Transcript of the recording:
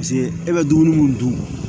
Paseke e bɛ dumuni mun dun